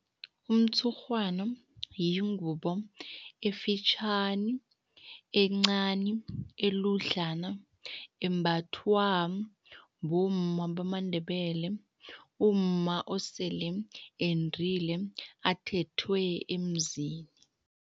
Umtshurhwana yingubo efitjhani, encani, eludlana, embathwa bomma bamaNdebele, umma osele endile, athethwe emzini.